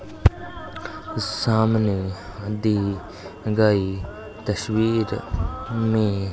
सामने हदी लगाई तस्वीर में --